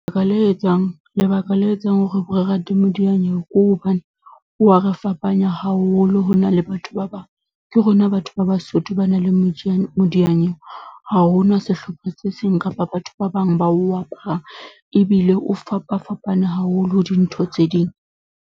le etsang, lebaka le etsang hore re rate modiyanyewe ke hobane, o wa re fapanya haholo ho na le batho ba bang. Ke rona batho ba Basotho ba nang le modiyanyewe, ha ho nwa sehlopha se seng kapa batho ba bang ba o aparang Ebile o fapafapane haholo ho dintho tse ding.